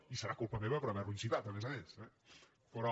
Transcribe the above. i serà culpa meva per haverlo incitat a més a més eh però